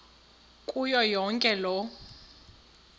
kuyo yonke loo